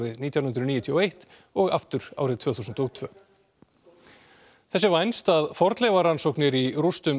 nítján hundruð níutíu og eitt og aftur árið tvö þúsund og tvö þess er vænst að fornleifarannsóknir í rústum